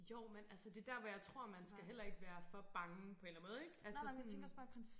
Jo men altså det der hvor jeg tror man skal heller ikke være for bange på en eller anden måde ikke altså sådan